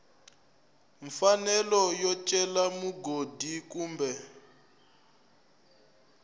mfanelo yo cela mugodi kumbe